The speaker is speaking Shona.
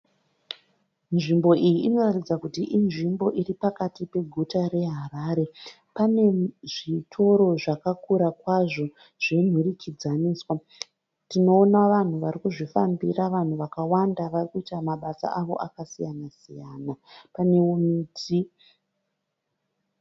Nzvimbo iyi inoratidza kuti inzvimbo iripakati peguta reHarare. Panezvitoro zvakakura kwazvo zvenhurikidzaniswa. Tinoona vanhu varikuzvifambira vanhu vakawanda varikuita mabasa avo akasiyana siyana. Panewo miti.